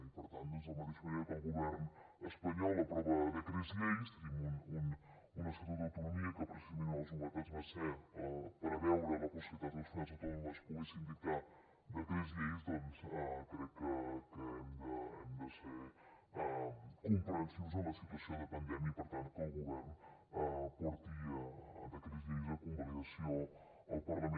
i per tant doncs de la mateixa manera que el govern espanyol aprova decrets lleis tenim un estatut d’autonomia que precisament una de les novetats va ser preveure la possibilitat que les comunitats autònomes poguessin dictar decrets lleis doncs crec que hem de ser comprensius amb la situació de pandèmia i per tant que el govern porti decrets lleis a convalidació al parlament